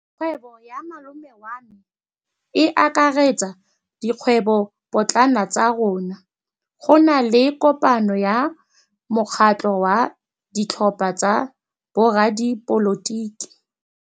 Kgwêbô ya malome wa me e akaretsa dikgwêbôpotlana tsa rona. Go na le kopanô ya mokgatlhô wa ditlhopha tsa boradipolotiki.